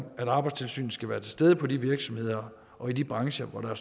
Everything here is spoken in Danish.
at arbejdstilsynet skal være til stede på de virksomheder og i de brancher hvor der er